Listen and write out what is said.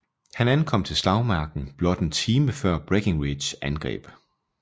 Han ankom til slagmarken blot en time før Breckinridges angreb